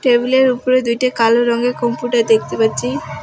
টেবিলের উপরে দুইটা কালো রঙের কম্পিউটার দেখতে পাচ্ছি।